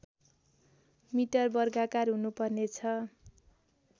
metre वर्गाकार हुनुपर्नेछ